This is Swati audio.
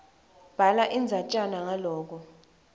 bhala indzatjana ngaloko